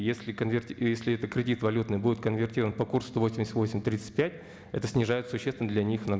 и если этот кредит валютный будет конвертирован по курсу сто восемьдесят восемь тридцать пять это снижает существенно для них